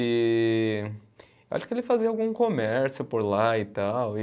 E acho que ele fazia algum comércio por lá e tal, e